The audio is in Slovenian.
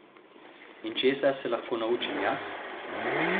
In česa se lahko naučim jaz?